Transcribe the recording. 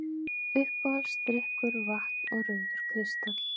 Uppáhaldsdrykkur: vatn og rauður kristall